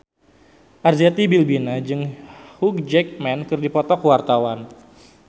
Arzetti Bilbina jeung Hugh Jackman keur dipoto ku wartawan